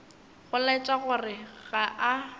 go laetša gore ga a